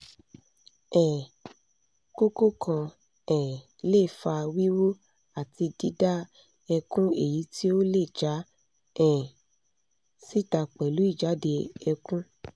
um koko kan um le fa wiwu ati dida ekun eyiti o le ja um sita pelu ijade ekun